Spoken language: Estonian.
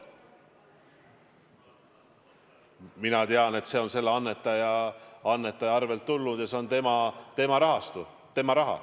Mina tean, et see on selle annetaja kontolt tulnud ja see on tema raha.